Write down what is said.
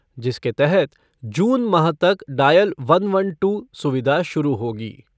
जिसके तहत जून माह तक डायल वन वन टू सुविधा शुरू होगी।